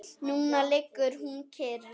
Núna liggur hún kyrr.